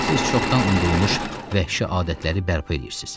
Siz çoxdan unudulmuş vəhşi adətləri bərpa eləyirsiz.